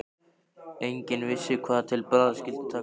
Enginn vissi hvað til bragðs skyldi taka.